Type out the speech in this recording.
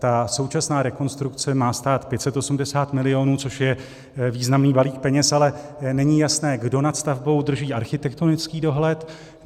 Ta současná rekonstrukce má stát 580 milionů, což je významný balík peněz, ale není jasné, kdo nad stavbou drží architektonický dohled.